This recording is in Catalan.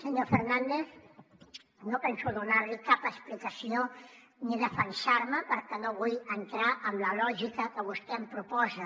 senyor fernández no penso donar li cap explicació ni defensar me perquè no vull entrar en la lògica que vostè em proposa